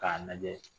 K'a lajɛ